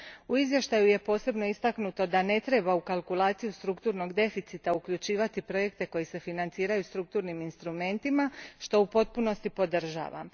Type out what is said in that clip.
U izvještaju je posebno istaknuto da ne treba u kalkulaciju strukturnog deficita uključivati projekte koji se financiraju strukturnim instrumentima, što u potpunosti podržavam.